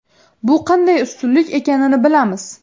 Bu qanday ustunlik ekanini bilamiz.